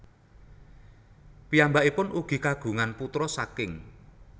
Piyambakipun ugi kagungan putra saking